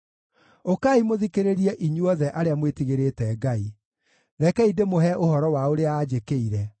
Ũkai mũthikĩrĩrie inyuothe arĩa mwĩtigĩrĩte Ngai; rekei ndĩmũhe ũhoro wa ũrĩa anjĩkĩire.